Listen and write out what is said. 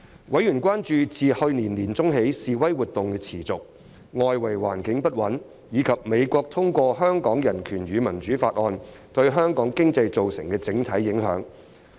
委員關注自去年年中起示威活動持續，外圍環境不穩，以及美國通過《香港人權與民主法案》對香港經濟造成的整體影響。